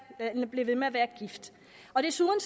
at blive ved med at være gift og desuden